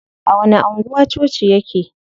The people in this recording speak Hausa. A wani anguwa coci yake?